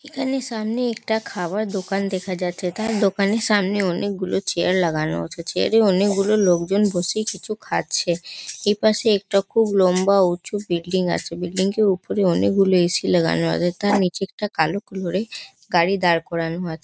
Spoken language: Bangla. এখানে সামনে একটা খাবার দোকান দেখা যাচ্ছে তার দোকানের সামনে অনেক গুলো চেয়ার লাগানো আছে চেয়ার -এ অনেক গুলো লোকজন বসে কিছু খাচ্ছে। এপাশে একটা খুব লম্বা উঁচু বিল্ডিং আছে। বিল্ডিং -টির উপরে অনেক গুলি এ.সি লাগানো আছে। তার নিচে একটা কালো কালার -এর গাড়ি দাঁড় করানো আছে।